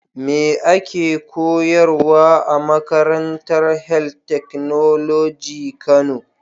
Me ake koyarwa a makarantar health technology kano.